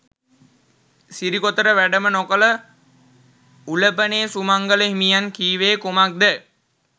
සිරිකොතට වැඩම නොකළ උලපනේ සුමංගල හිමියන් කීවේ කුමක්ද?